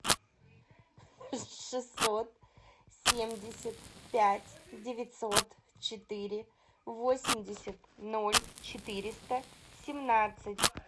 шестьсот семьдесят пять девятьсот четыре восемьдесят ноль четыреста семнадцать